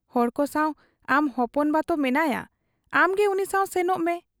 ᱦᱚᱲᱠᱚ ᱥᱟᱶ ᱟᱢ ᱦᱚᱯᱚᱱ ᱵᱟᱛᱳ ᱢᱮᱱᱟᱭᱟᱸ, ᱟᱢᱜᱮ ᱩᱱᱤᱥᱟᱶ ᱥᱮᱱᱚᱜ ᱢᱮ ᱾